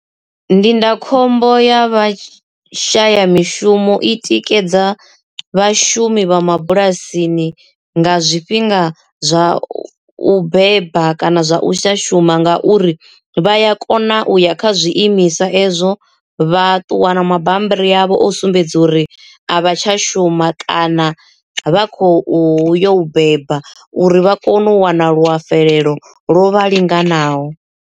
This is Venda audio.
Ndindakhombo ya vha shaya mishumo i tikedza vhashumi vha mabulasini nga zwifhinga zwa u beba kana zwa u sa shuma ngauri vha ya kona na u ya kha zwiimiswa ezwo vha ṱuwa na mabammbiri avho o sumbedza uri a vha tsha shuma kana vha khou yo u beba uri vha kone u wana luafulelo ḽo vha linganaho.